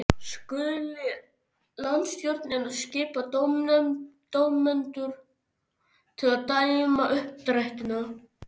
Skuli landsstjórnin og skipa dómendur til að dæma uppdrættina.